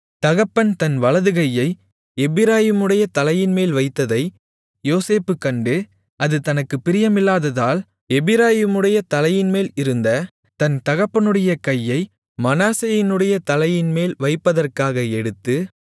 தகப்பன் தன் வலதுகையை எப்பிராயீமுடைய தலையின்மேல் வைத்ததை யோசேப்பு கண்டு அது தனக்குப் பிரியமில்லாததால் எப்பிராயீமுடைய தலையின்மேல் இருந்த தன் தகப்பனுடைய கையை மனாசேயினுடைய தலையின்மேல் வைப்பதற்காக எடுத்து